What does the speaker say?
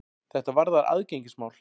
Þetta varðar aðgengismál.